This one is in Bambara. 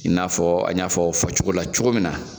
I n'a fɔ an y'a fɔ fɔ cogo min min na